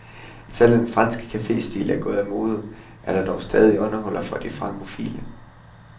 Selvom den franske caféstil er gået af mode, er der dog stadig åndehuller for de frankofile.